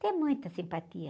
Tem muita simpatia.